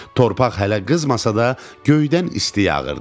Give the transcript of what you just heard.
Torpaq hələ qızmasa da göydən isti yağırdı.